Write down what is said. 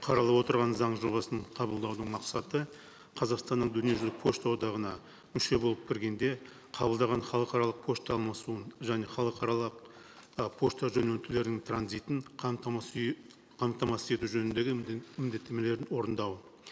қаралып отырған заң жобасын қабылдаудың мақсаты қазақстанның дүниежүзілік пошта одағына мүше болып кіргенде қабылдаған халықаралық пошта алмасуын және халықаралық ы пошта жөнелтулердің транзитін қамтамасыз қамтамасыз ету жөніндегі міндеттемелерін орындау